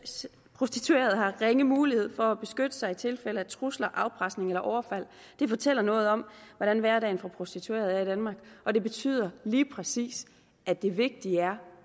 prostituerede har ringe mulighed for at beskytte sig i tilfælde af trusler afpresning eller overfald det fortæller noget om hvordan hverdagen for prostituerede er i danmark og det betyder lige præcis at det vigtige er